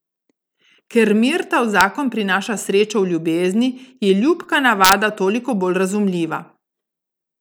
Ker mirta v zakon prinaša srečo v ljubezni, je ljubka navada toliko bolj razumljiva.